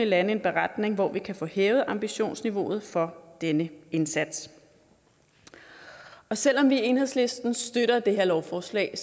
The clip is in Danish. landet en beretning hvor vi kan få hævet ambitionsniveauet for denne indsats selv om vi i enhedslisten støtter det her lovforslag